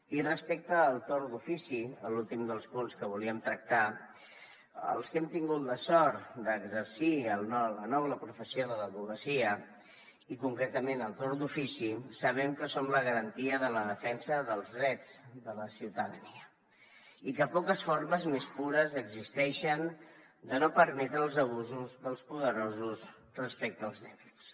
i respecte al torn d’ofici l’últim dels punts que volíem tractar els que hem tingut la sort d’exercir la noble professió de l’advocacia i concretament el torn d’ofici sabem que som la garantia de la defensa dels drets de la ciutadania i que poques formes més pures existeixen de no permetre els abusos dels poderosos respecte als dèbils